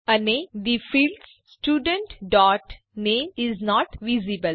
અને the field student dot name is not visible